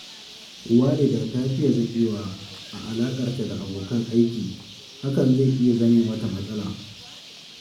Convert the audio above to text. Walida ta fiye zaƙewa a alaƙarta da abokan aiki, hakan zai iya zame mata matsala